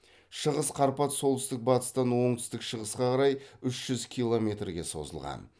шығыс қарпат солтүстік батыстан оңтүстік шығысқа қарай үш жүз километрге созылған